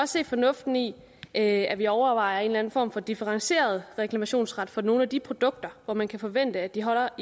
se fornuften i at vi overvejer en eller anden form for differentieret reklamationsret for nogle af de produkter hvor man kan forvente at de holder